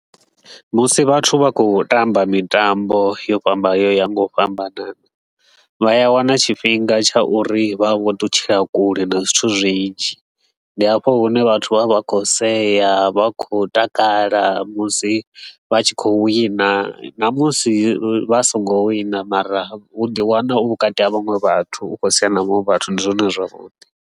Musi vhathu vha khou tamba mitambo yo fhambana yo yaho nga u fhambanana, vha ya wana tshifhinga tsha uri vha vho ṱutshela kule na zwithu zwinzhi. Ndi hafho hune vhathu vha vha khou sea, vha khou takala musi vha tshi khou wina namusi vha songo wina mara u ḓi wana u vhukati ha vhaṅwe vhathu u khou sea na vhanwe vhathu, ndi zwone zwavhuḓi.